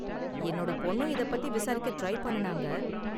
என்னோட பொண்ணும் இதை பத்தி விசாரிக்க ட்ரை பண்ணுனாங்க.